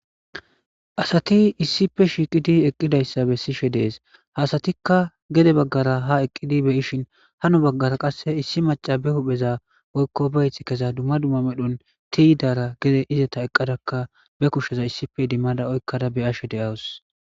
Asati issife shiiqidi eqqidayssa bessishe dees hasatikka gede baggara ha eqqidi beyishin hano baggara qasse issi maca be hupheza oykko beyth keza dumma dumma medhon tiyidara gede izata eqqadakka be kushsheza issife dimmada oykkada be ashe deawus.